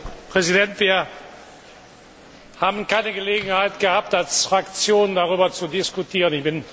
Herr Präsident! Wir haben keine Gelegenheit gehabt, als Fraktion darüber zu diskutieren.